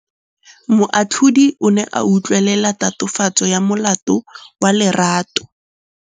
Moatlhodi o ne a utlwelela tatofatsô ya molato wa Lerato.